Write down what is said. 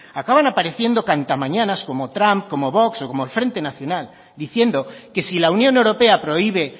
acaban apareciendo cantamañanas como trump como vox o como el frente nacional diciendo que si la unión europea prohíbe